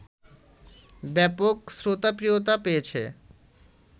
ব্যাপক শ্রোতাপ্রিয়তা পেয়েছে